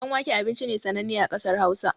Ɗan wake abinci ne sananne a ƙasar hausa